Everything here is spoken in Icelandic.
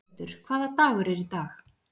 Ingveldur, hvaða dagur er í dag?